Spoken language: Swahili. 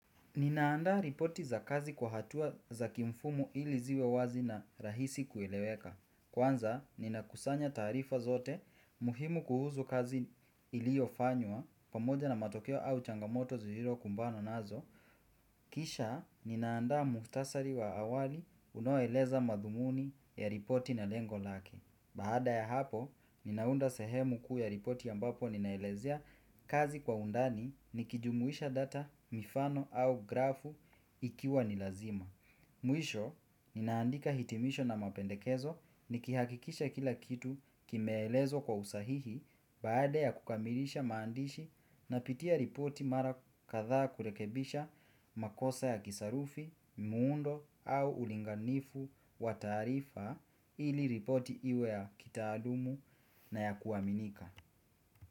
Ninaanda ripoti za kazi kwa hatua za kimfumo ili ziwe wazi na rahisi kueleweka. Kwanza, nina kusanya tarifa zote muhimu kuhusu kazi iliofanywa pamoja na matokeo au changamoto zililo kumbano nazo. Kisha, ninaanda muftasari wa awali unoeleza madhumuni ya ripoti na lengo lake. Baada ya hapo, ninaunda sehemu kuu ya ripoti ya ambapo ninaelezea kazi kwa undani nikijumuisha data, mifano au grafu ikiwa nilazima. Mwisho, ninaandika hitimisho na mapendekezo nikihakikisha kila kitu kimeelezwa kwa usahihi baada ya kukamilisha maandishi napitia ripoti mara kadhaa kurekebisha makosa ya kisarufi, muundo au ulinganifu wa tarifa ili ripoti iwe ya kitaalumu na ya kuaminika.